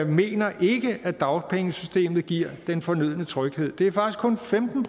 mener at dagpengesystemet giver den fornødne tryghed det er faktisk kun femten